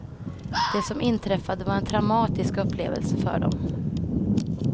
Det som inträffade var en traumatisk upplevelse för dem.